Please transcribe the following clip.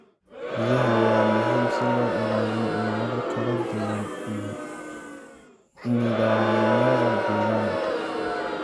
Biyaha waa muhiim si loo ilaaliyo noole kala duwan iyo nidaamyada deegaanka.